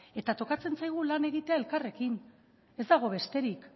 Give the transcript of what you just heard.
eta tokatzen zaigu lan egitea elkarrekin ez dago besterik